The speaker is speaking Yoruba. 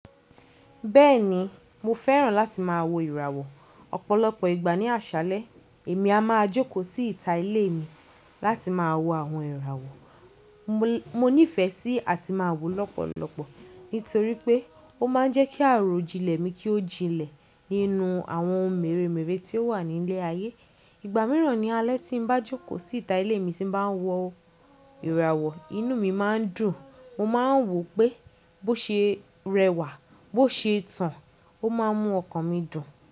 Bẹ́ẹ̀ni, mo fẹ́ràn láti má a wo ìràwọ̀ ọ̀pọ̀lọpọ̀ ìgbà ní àṣálẹ́. Èmi a má a jókòó sí ìta ilé mi láti má a wo àwọn ìràwọ̀ mo ní ìfẹ́ sí àti má a wò lọ́pọ̀lọpọ̀ nítorí pé ó ma ń jẹ́ kí àròjinlẹ̀ mi kí ó jinlẹ̀ nínú àwọn mèremère tí ó wà ní ilẹ̀ ayé. Ìgbà mìíràn ní alẹ́ tí n bá jókòó sí ìta ilé mi tí n bá ń wo ìràwọ̀, inú mi má ń dùn. Mo má ń wò pé bó ṣe rẹwà, bó ṣe tàn, ó ma ń mú ọkàn mi dùn.